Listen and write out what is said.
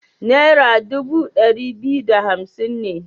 Nera dubu ɗari biyu da hamsin ne.